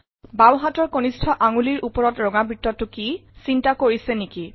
বাওঁহাতৰ কনিষ্ঠ আঙুলিৰ ওপৰত ৰঙা বৃত্তটো কি চিন্তা কৰিছে নিকি